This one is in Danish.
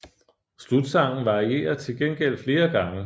Slutsangen varierer til gengæld flere gange